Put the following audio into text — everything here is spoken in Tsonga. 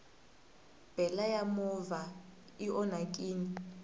bele ya movha i onhakini